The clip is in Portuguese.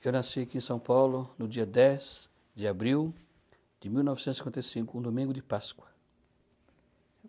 Eu nasci aqui em São Paulo no dia dez de abril de mil novecentos e cinquenta e cinco, um domingo de Páscoa.